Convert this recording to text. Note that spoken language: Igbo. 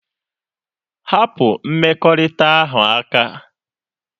Hapụ mmekọrịta ahụ aka!